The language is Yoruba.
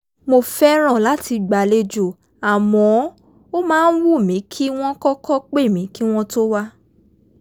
mo fẹ́ràn láti gbàlejò àmọ́ ó máa ń wù mí kí wọ́n kọ́kọ́ pè mí kí wọ́n tó wá